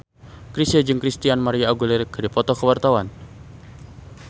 Chrisye jeung Christina María Aguilera keur dipoto ku wartawan